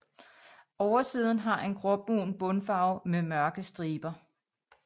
Oversiden har en gråbrun bundfarve med mørke striber